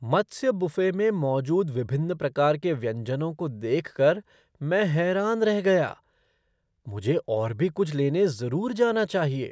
मत्स्य buffet में मौजूद विभिन्न प्रकार के व्यंजनों को देख कर मैं हैरान रह गया! मुझे और भी कुछ लेने जरूर जाना चाहिए।